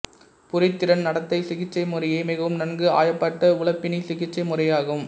புரிதிறன் நடத்தை சிகிச்சை முறையே மிகவும் நன்கு ஆயப்பட்ட உளப்பிணி சிகிச்சை முறையாகும்